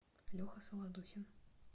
леха солодухин